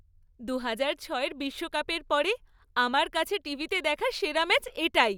দু হাজার ছয়ের বিশ্বকাপের পরে আমার কাছে টিভিতে দেখা সেরা ম্যাচ এটাই।